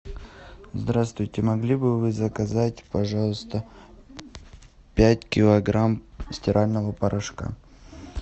здравствуйте могли бы вы заказать пожалуйста пять килограмм стирального порошка